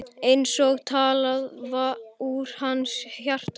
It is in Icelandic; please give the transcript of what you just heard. Eins og talað úr hans hjarta.